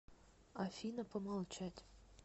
афина помолчать